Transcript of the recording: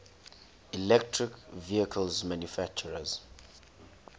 electric vehicle manufacturers